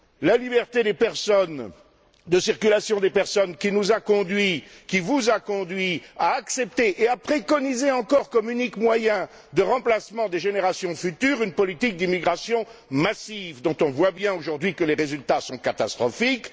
La liberté de circulation des personnes, qui nous a conduits, qui vous a conduits, à accepter et à préconiser encore, comme unique moyen de remplacement des générations futures, une politique d'immigration massive, dont on constate bien, aujourd'hui, les résultats catastrophiques.